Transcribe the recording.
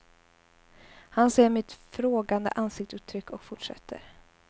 Han ser mitt frågande ansiktsuttryck och fortsätter.